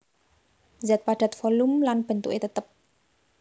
Zat Padat volum lan bentuké tetep